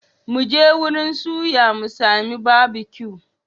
Mu je wurin suya mu sami Barbecue.